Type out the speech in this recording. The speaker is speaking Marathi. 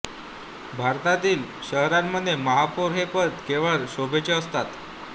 भारतांतील शहरांमधले महापौर हे पद केवळ शोभेचे असते